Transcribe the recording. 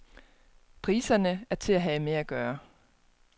Priserne er til at have med at gøre.